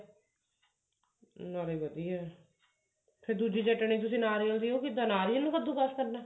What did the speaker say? ਨਾਲੇ ਵਧੀਆ ਫ਼ੇਰ ਦੂਜੀ ਚਟਨੀ ਤੁਸੀਂ ਨਾਰੀਅਲ ਦੀ ਉਹ ਕਿੱਦਾਂ ਨਾਰੀਅਲ ਨੂੰ ਕੱਦੂ ਕਾਸ ਕਰਦੇ ਹੋ